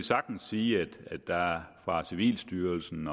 sagtens sige at der fra civilstyrelsens